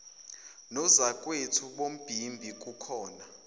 nozakwethu bombimbi kubona